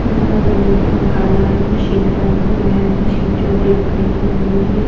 यहाँ पर जमीन का रंग काला है मशीन का रंग भूरा है मशीन जो है वो लकड़ी की बनी हुई है।